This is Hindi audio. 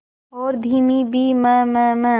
और धीमी भी ममम